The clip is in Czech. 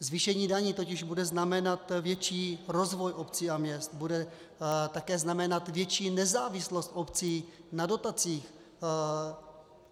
Zvýšení daní totiž bude znamenat větší rozvoj obcí a měst, bude také znamenat větší nezávislost obcí na dotacích.